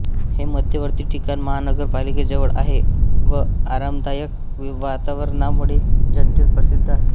हे मध्यवर्ती ठिकाण महानगरपालिकेजवळ आहे व आरामदायक वातावरणामुळे जनतेत प्रसिद्ध आहे